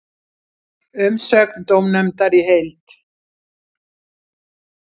Umsögn dómnefndar í heild